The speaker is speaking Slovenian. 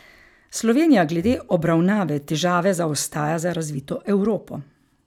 Slovenija glede obravnave težave zaostaja za razvito Evropo.